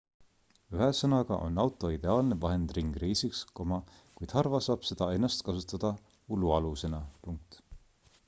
ühesõnaga on auto ideaalne vahend ringreisiks kuid harva saab seda ennast kasutada ulualusena